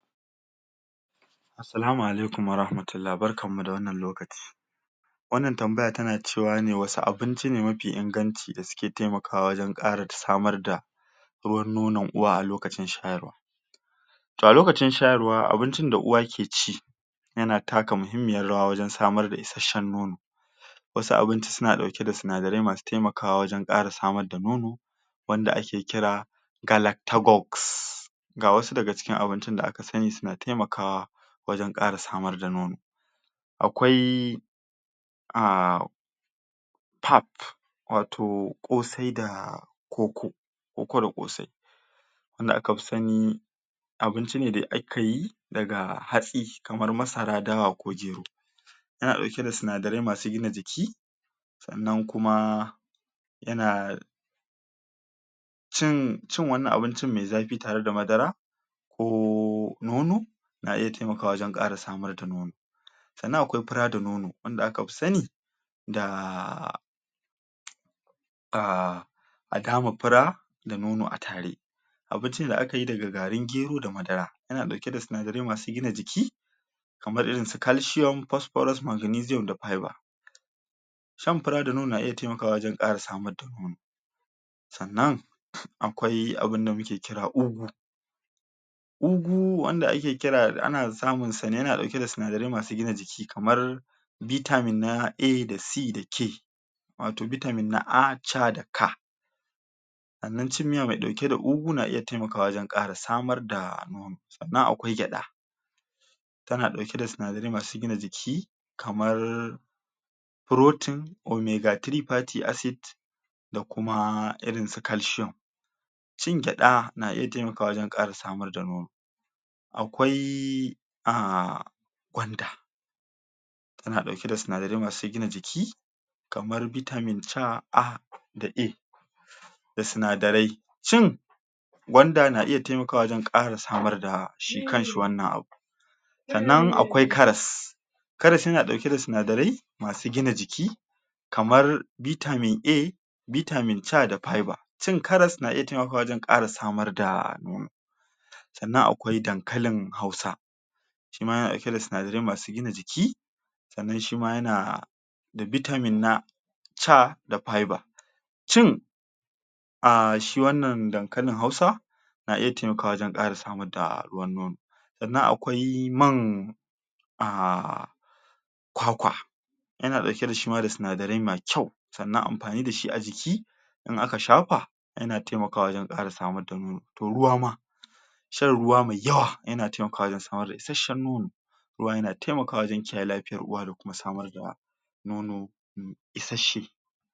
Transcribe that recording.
Assalamu alaikum warahmatullah, barkan mu da wannan lokaci wannan tambaya tana cewa ne wasu abinci ne mafi inganci da suke taimakawa wajen ƙara samar da ruwan nonon uwa a lokacin shayarwa to a lokacin shayarwa abincin da uwa ke ci yana taka muhimmiyar rawa wajen samar da isashen nono wasu abinci suna ɗauke da sinadarai masu taimakawa wajen ƙara samar da nono wanda ake kira galacticus ga wasu daga cikin abincin da aka sani suna taimakawa wajen ƙara samar da nono akwai a pap wato ƙosai da koko, koko da ƙosai wanda aka fi sani abinci ne da ake yi daga hatsi kamar masara, dawa ko gero yana ɗauke da sinadarai masu gina jiki sannan kuma yana cin wani abincin me zafi tare da madara ko nono na iya taimakawa wajen ƙara samar da nono sannan akwai fura da nono wanda aka fi sani da ah a dama fura da nono a tare abinci ne da ka yi daga garin gero da madara yana ɗauke da sinadarai masu gina jiki kamar irin su calcium, phosphorus, magnesium da fiber shan fura da nono na iya taimakawa wajen ƙara samar da nono sannan akwai abinda muke kira ugu ugu wanda ake kira da ana samun sa ne yana ɗauke da sinadarai masu gina jiki kamar vitamin na A da C da K wato bitamin na ah, ca da ka sannan cin miya mai ɗauke da ugu na iya taimakawa wajen ƙara samar da nono sannan akwai gyaɗa tana ɗauke da sinadarai masu gina jiki kamar protein, omega-three 3 fatty acid da kuma irin su calcium cin gyaɗa na iya taimakawa wajen ƙara samar da nono akwai a gwanda tana ɗauke da sinadarai masu gina jiki kamar bitamin ca, a da e da sinadarai shin gwanda na iya taimakawa wajen ƙara samar da shi kan shi wannan abun sannan akwai karas karas yana ɗauke da sinadarai masu gina jiki kamar bitamin A bitamin ca da fiber cin karas na iya taimakawa wajen ƙara samar da nono sannan akwai dankalin Hausa shi ma yana ɗauke da sinadarai masu gina jiki sannan shi ma yana da bitamin na ca da fiber cin a shi wannan dankalin Hausa na iya taimakawa wajen ƙara samar da ruwan nono sannan akwai man a kwakwa yana ɗauke da shi ma da sinadarai mai kyau sannan amfani da shi a jiki in aka shafa yana taimakawa wajen ƙara samar da nono, to ruwa ma shan ruwa mai yawa yana taimakawa wajen samar da isashen nono ruwa yana taimakawa wajen kiyaye lafiyar uwa da kuma samar da nono isashe.